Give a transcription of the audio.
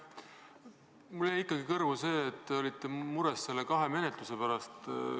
Mulle jäi kõrvu see, et te olete mures kahe menetluse pärast.